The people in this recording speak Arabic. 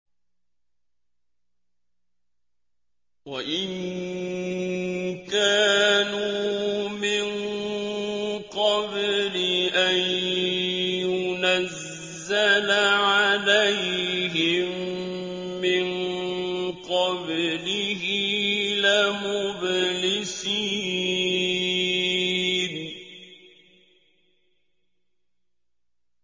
وَإِن كَانُوا مِن قَبْلِ أَن يُنَزَّلَ عَلَيْهِم مِّن قَبْلِهِ لَمُبْلِسِينَ